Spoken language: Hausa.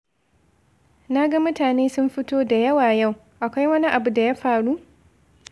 Na ga mutane sun fito da yawa yau, akwai wani abu da ya faru?